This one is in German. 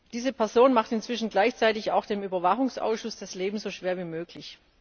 Diese Person macht inzwischen gleichzeitig auch dem Überwachungsausschuss das Leben so schwer wie möglich.